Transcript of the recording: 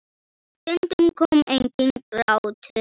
Og stundum kom enginn grátur.